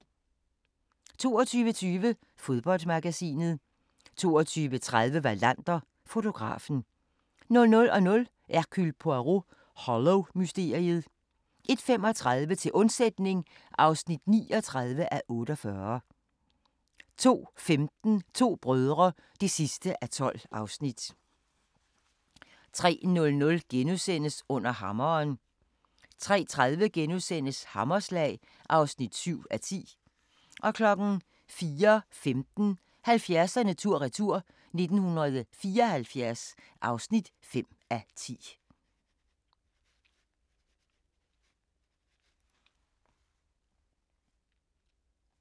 22:20: Fodboldmagasinet 22:30: Wallander: Fotografen 00:00: Hercule Poirot: Hollow-mysteriet 01:35: Til undsætning (39:48) 02:15: To brødre (12:12) 03:00: Under hammeren * 03:30: Hammerslag (7:10)* 04:15: 70'erne tur-retur: 1974 (5:10)